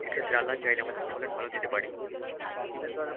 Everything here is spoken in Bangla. এক্ষেত্রে আল্লাহ চাইলে আমাদের ফলন ভালো দিতে পারে.